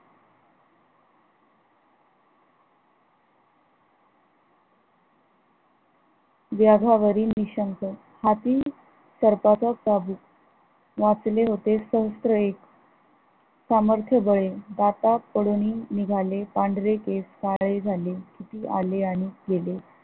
व्यावावरील निशंक हाती सर्पाचा चाबूक, वाचले होते स्रोत एक सामर्थबळे दाटा पडून निघाले पांढरे केस काळे झाले किती आले आणि गेले